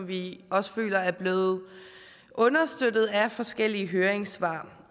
vi også føler er blevet understøttet af forskellige høringssvar